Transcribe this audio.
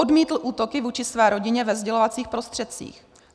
Odmítl útoky vůči své rodině ve sdělovacích prostředcích.